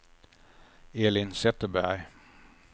Elin Zetterberg